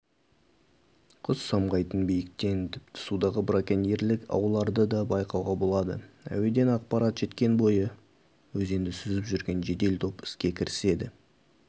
құс самғайтын биіктен тіпті судағы браконьерлік ауларды да байқауға болады әуеден ақпарат жеткен бойы өзенді сүзіп жүрген жедел топ іске кіріседі